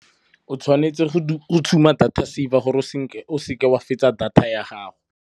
O tshwanetse go tshuma data saver gore o seke wa fetsa data ya gago.